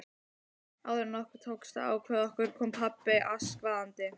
Áður en okkur tókst að ákveða okkur kom pabbi askvaðandi.